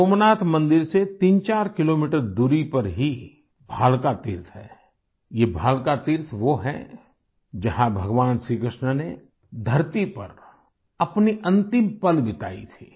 सोमनाथ मंदिर से 34 किलोमीटर दूरी पर ही भालका तीर्थ है ये भालका तीर्थ वो है जहाँ भगवान श्री कृष्ण ने धरती पर अपने अंतिम पल बिताये थे